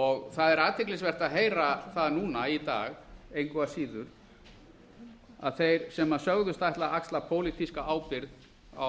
og það er athyglisvert að heyra það núna í dag engu að síður að þeir sem sögðust ætla að axla pólitíska ábyrgð á